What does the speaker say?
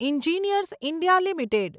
engineers India limited